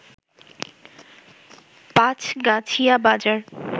পাঁছগাছিয়া বাজার